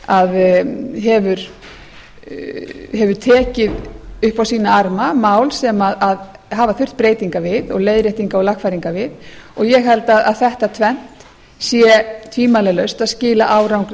að hefur tekið upp á sína arma mál sem hafa þurft breytinga og lagfæringa við og ég held að þetta tvennt sé tvímælalaust að skila